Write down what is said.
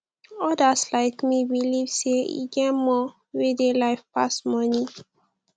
odas like me believe sey e get more wey dey life pass money